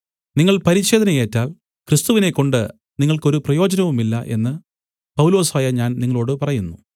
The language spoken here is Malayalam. നിങ്ങൾ പരിച്ഛേദന ഏറ്റാൽ ക്രിസ്തുവിനെക്കൊണ്ട് നിങ്ങൾക്ക് ഒരു പ്രയോജനവുമില്ല എന്ന് പൗലൊസായ ഞാൻ നിങ്ങളോടു പറയുന്നു